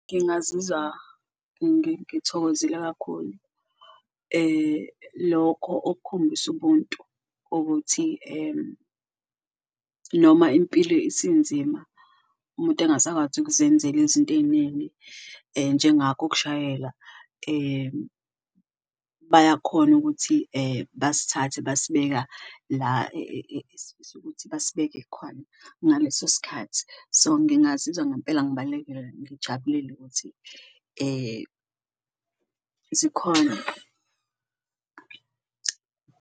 Ngingazizwa ngithokozile kakhulu lokho okukhombisa ubuntu ukuthi noma impilo isinzima umuntu engasakwazi ukuzenzela izinto ey'ningi njengakho ukushayela, bayakhona ukuthi basithathe basibeka la esifisa ukuthi basibeke khona ngaleso sikhathi. So, ngingazizwa ngampela ngijabulele ukuthi zikhona.